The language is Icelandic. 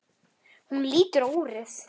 Hún lítur á úrið.